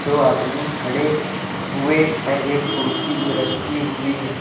दो आदमी खड़े हुए हैं एक कुर्सी भी रखी हुई है।